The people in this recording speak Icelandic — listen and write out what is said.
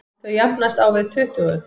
Þau jafnast á við tuttugu.